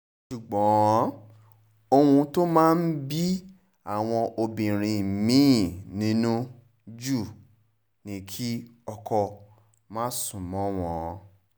ṣùgbọ́n ohun tó máa ń bí àwọn obìnrin mi-ín nínú jù ni kí ọkọ má sún mọ́ wọn